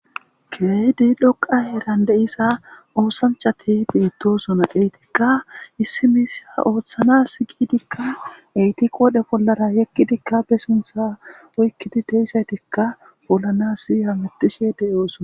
Keedi loqa eeran de7isa oosanchati beettosona eetikka issimisa ooththanas giidikka etiqo wodhe bollara yekkidikka be suntha oykkidi deisaytikka bollanasi hamatishe de7oosona.